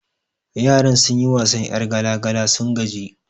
Yaran sun yi wasan 'yar gala gala sun gaji